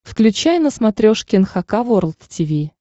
включай на смотрешке эн эйч кей волд ти ви